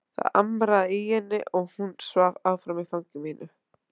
Það amraði í henni og hún svaf áfram í fangi mínu.